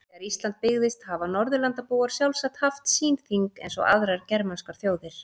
Þegar Ísland byggðist hafa Norðurlandabúar sjálfsagt haft sín þing eins og aðrar germanskar þjóðir.